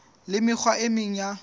le mekgwa e meng ya